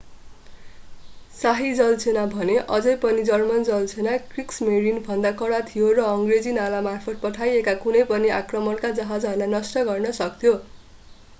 शाही जलसेना भने अझै पनि जर्मन जलसेना क्रिग्समेरिन”भन्दा कडा थियो र अङ्ग्रेजी नालामार्फत पठाइएका कुनै पनि आक्रमणका जहाजलाई नष्ट गर्न सक्थ्यो।